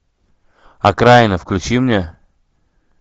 окраина включи мне